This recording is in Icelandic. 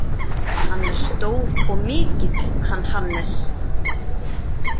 Hann er stór og mikill, hann Hannes.